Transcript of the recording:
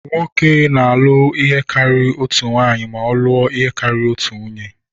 Nwoke na-alụ karịa otu nwanyị ma ọ lụọ ihe karịrị otu nwunye.